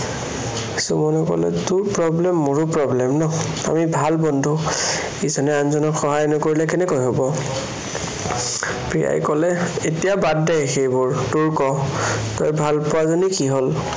সুমনে কলে, তোৰ problem মোৰো problem ন'। আমি ভাল বন্ধু। ইজনে আনজনক সহায় নকৰিলে কেনেকে হব। প্ৰিয়াই কলে, এতিয়া বাদ দে সেইবোৰ, তোৰ ক' তই ভালপোৱাজনীৰ কি হল?